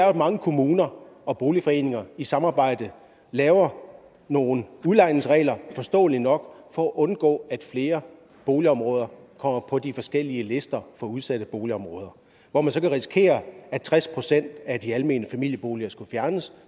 at mange kommuner og boligforeninger i samarbejde laver nogle udlejningsregler forståeligt nok for at undgå at flere boligområder kommer på de forskellige lister for udsatte boligområder hvor man så kan risikere at tres procent af de almene familieboliger skal fjernes